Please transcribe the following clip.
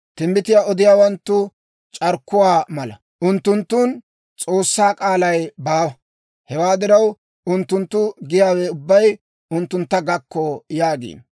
Timbbitiyaa odiyaawanttu c'arkkuwaa mala; unttunttun S'oossaa k'aalay baawa. Hewaa diraw, unttunttu giyaawe ubbay unttuntta gakko» yaagiino.